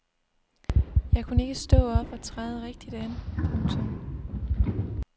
Jeg kunne ikke stå op og træde rigtigt an. punktum